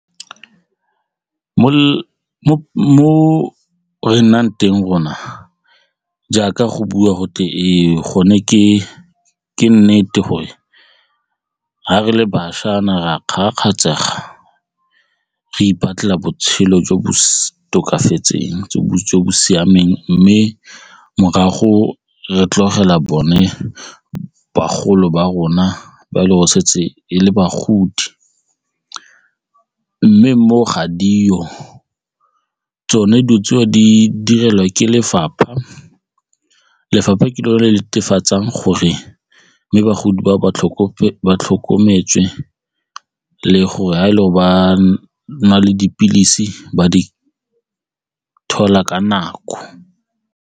Mo re nnang teng rona jaaka go bua gotlhe e gone ke ke nnete gore ha re le bašwa naare a ka re ipatlela botshelo jo bo sa tokafatseng jo bo siameng mme morago re tlogela bone bagolo ba rona ba e le gore setse le bagodi mme mo ga dio tsone dilo tseo di direlwa ke lefapha, lefapha ke lone le netefatsang gore mme bagodi ba ba tlhokometswe le gore ga e le go ba na le dipilisi ba di thola ka nako.